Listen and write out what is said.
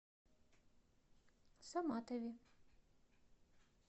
саматове